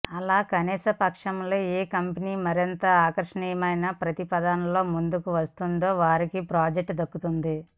అలా కానిపక్షంలో ఏ కంపెనీ మరింత ఆకర్షణీయమైన ప్రతిపాదనతో ముందుకు వస్తుందో వారికే ప్రాజెక్టు దక్కుతుంది